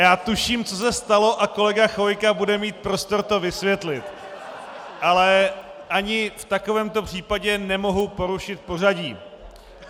Já tuším, co se stalo, a kolega Chvojka bude mít prostor to vysvětlit, ale ani v takovémto případě nemohu porušit pořadí.